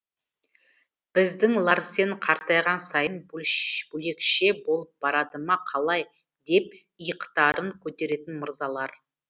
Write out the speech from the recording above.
біздің ларсен қартайған сайын бөлекше болып барады ма қалай деп иықтарын көтеретін мырзалар